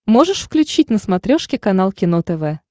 можешь включить на смотрешке канал кино тв